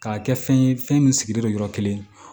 K'a kɛ fɛn ye fɛn min sigilen don yɔrɔ kelen